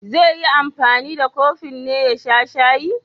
Zai yi anfani da kofin ne ya sha shayi?